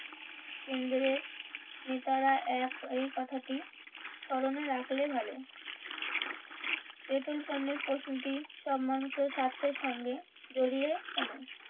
কেন্দ্রের নেতারা এক এই কথাটি স্মরণে রাখলে ভালো পেট্রোল পণ্যের প্রশ্নটি সব মানুষের স্বার্থের সঙ্গে জড়িয়ে